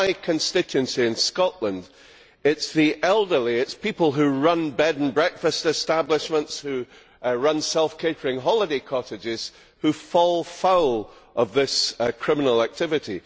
In my constituency in Scotland, it is the elderly and people who run bed and breakfast establishments or self catering holiday cottages that fall foul of this criminal activity.